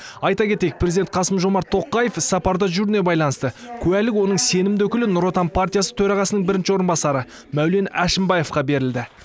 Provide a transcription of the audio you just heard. айта кетейік президент қасым жомарт тоқаев іссапарда жүруіне байланысты куәлік оның сенімді өкілі нұр отан партиясы төрағасының бірінші орынбасары мәулен әшімбаевқа берілді